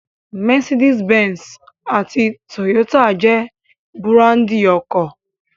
Mercedes Benz àti Toyota jẹ́ búráńdì ọkọ̀.